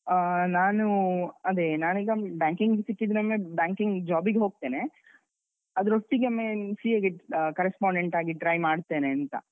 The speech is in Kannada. ಆಹ್ ನಾನು ಅದೆ ನಾನೀಗ banking ಸಿಕ್ಕಿದ್ರೆ ಒಮ್ಮೆ banking job ಗೆ ಹೊಗ್ತೇನೆ, ಅದ್ರೊಟ್ಟಿಗೆ ಒಮ್ಮೆ CA ಗೆ correspondent ಆಗಿ try ಮಾಡ್ತೇನಂತ.